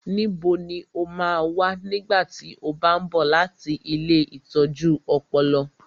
Níbo lo máa wà nígbà tí ó bá ń bọ̀ láti ilée ìtọ́jú ọpọlọ?